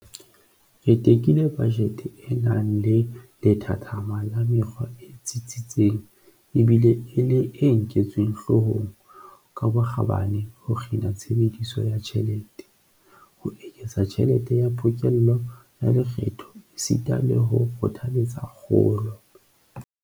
Re tekile bajete e nang le lethathama la mekgwa e tsitsitseng ebile e le e nketsweng hloohong ka bokgabane ho kgina tshebediso ya tjhelete, ho eketsa tjhelete ya pokello ya lekgetho esita le ho kgothaletsa kgolo.